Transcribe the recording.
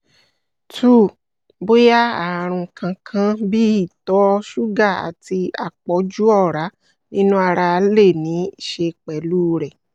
two bóyá ààrùn kankan bíi ìtọ̀-ṣúgà àti àpọ̀jù ọ̀rá nínú ara le níí ṣe pẹ̀lú rẹ̀